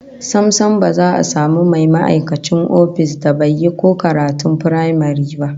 Sam sam, ba za a samu mai ma'aikacin ofis da ba yi ko karatun firamare ba